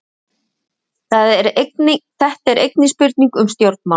Þetta er einnig spurning um stjórnmál.